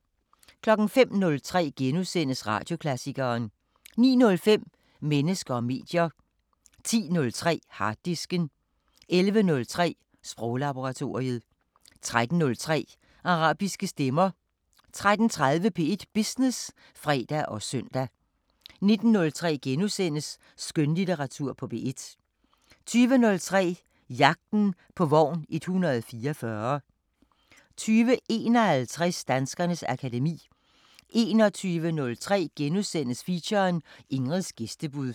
05:03: Radioklassikeren * 09:05: Mennesker og medier 10:03: Harddisken 11:03: Sproglaboratoriet 13:03: Arabiske Stemmer 13:30: P1 Business (fre og søn) 19:03: Skønlitteratur på P1 * 20:03: Jagten på vogn 144 20:51: Danskernes akademi 21:03: Feature: Ingrids gæstebud *